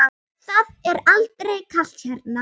Það er aldrei kalt hérna.